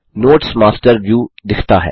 notes master view दिखता है